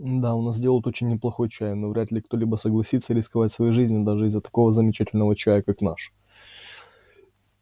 да у нас делают очень неплохой чай но вряд ли кто-либо согласится рисковать своей жизнью даже из-за такого замечательного чая как наш